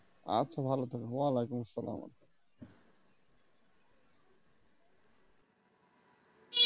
আচ্ছা ভালো থেকো অলাইকুম আসসালাম